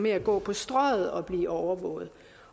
at gå på strøget og blive overvåget